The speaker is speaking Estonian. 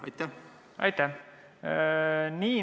Aitäh!